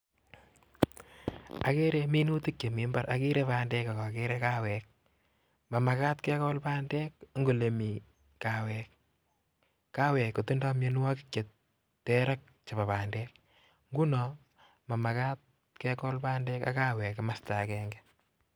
Agere minutik chemi mbar agere bandek AK ageree(Coffee)mamagat kekol bandek Eng olemiii (coffee) tindoi mianwogik cheter ngunoo mamagat kekol. bandek.ak (coffee) kimasta agenge